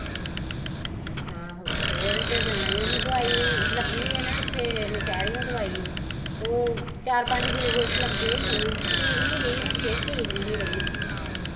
ਆਹੋ ਤੇ ਉਹਦੇ ਕੋਲ ਜਾਨਾ ਈ, ਉਹਨੂੰ ਦਵਾਈ ਲੱਗੀ ਐ ਨਾ ਇੱਥੇ ਨਸ਼ਿਰਿਓ ਦਵਾਈ ਤੇ ਓ ਚਾਰ ਪੰਜ ਗਲੁਕੋਸ਼ ਲੱਗੇ ਓ ਓਹਨੂੰ, ਠੀਕ ਨੀ ਰਹੀ ਹੁਣ ਫੇਰ ਠੀਕ ਨੀ ਸੀ ਰਹੀ ਆਹ